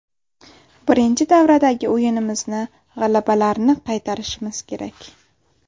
Birinchi davradagi o‘yinimizni, g‘alabalarni qaytarishimiz kerak.